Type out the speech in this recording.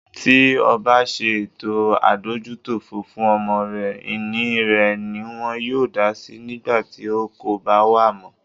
Tí obá ṣe ètò adójútòfò fún ọmọ rẹ, ìní rẹ̀ niwọn yóò dásí nígbàtí o kòbá wà mọ́.